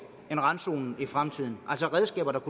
end randzonen i fremtiden altså redskaber der